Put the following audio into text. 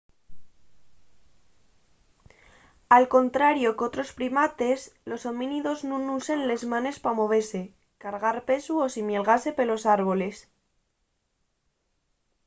al contrario qu'otros primates los homínidos nun usen les manes pa movese cargar pesu o ximelgase pelos árboles